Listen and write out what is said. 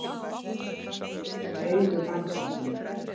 Augu mannsins mín.